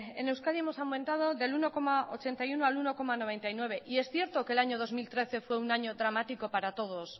en euskadi hemos aumentado del uno coma ochenta y uno al uno coma noventa y nueve y es cierto que el año dos mil trece fue un año dramático para todos